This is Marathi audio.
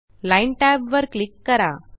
लाईन tab वर क्लिक करा